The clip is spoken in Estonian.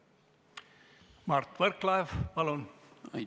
Mart Võrklaev, palun!